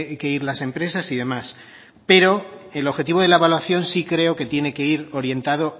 que ir las empresas y demás pero el objetivo de la evaluación sí creo que tiene que ir orientado